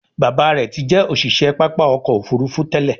Bàbá rẹ tí jé òṣiṣẹ pápá ọkọ̀-òfurufú tèlé.